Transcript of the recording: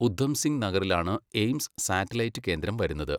ഉധംസിങ് നഗറിലാണ് AIIMS satellite കേന്ദ്രം വരുന്നത്.